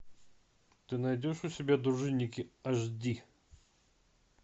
ты найдешь у себя дружинники аш ди